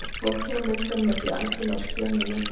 Fólkið á myndunum er því algerlega á skjön við nútímann.